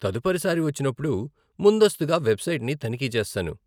తదుపరి సారి వచ్చినప్పుడు, ముందస్తుగా వెబ్సైట్ని తనిఖీ చేస్తాను.